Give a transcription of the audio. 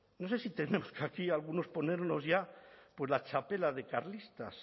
no sé si tendremos que aquí algunos ponernos ya pues la txapela de carlistas